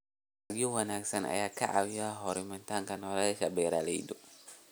Dalagyo wanaagsan ayaa ka caawiya horumarinta nolosha beeralayda.